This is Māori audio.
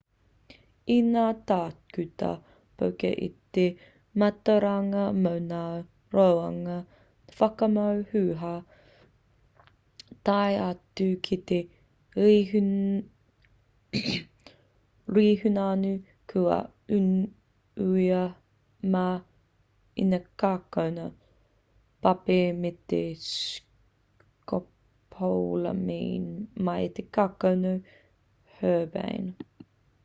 i ngā tākuta poka te mātauranga mo ngā rongoā whakamoe huhua tae atu ki te rehunanu kua unuhia mai i ngā kākano papi me te scopolamine mai i te kākano herbane